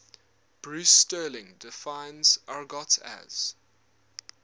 bruce sterling defines argot as